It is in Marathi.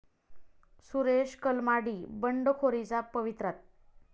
सुरेश कलमाडी बंडखोरीच्या पवित्र्यात?